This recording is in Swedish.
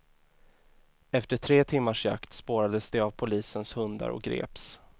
Efter tre timmars jakt spårades de av polisens hundar och greps.